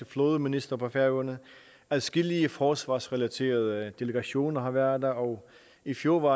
flådeminister på færøerne adskillige forsvarsrelaterede delegationer har været der og i fjor var